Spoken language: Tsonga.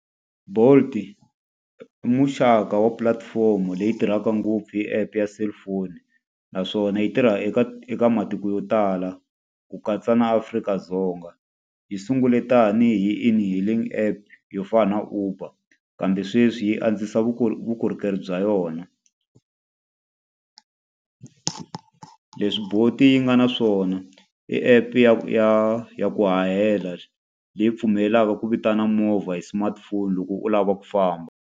Bolt i muxaka wa pulatifomo leyi tirhaka ngopfu hi app ya cellphone, naswona yi tirha eka eka matiko yo tala ku katsa na Afrika-Dzonga. Yi sungule tanihi e-hailing app yo fana na Uber, kambe sweswi yi antswisa vukorhokeri bya yona. Leswi Bolt-i yi nga na swona, i app ya ya ya ku hahela leyi pfumelelaka ku vitana movha hi smartphone loko u lava ku famba.